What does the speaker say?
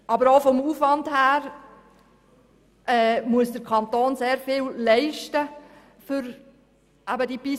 Aber auch vom Aufwand her muss der Kanton für die Pistenfahrzeuge sehr viel leisten.